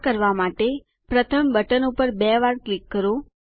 આ કરવા માટે પ્રથમ બટન ઉપર બે વાર ક્લિક કરો